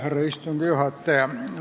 Härra istungi juhataja!